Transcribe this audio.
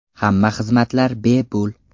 Hamma xizmatlar bepul.